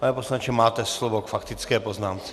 Pane poslanče, máte slovo k faktické poznámce.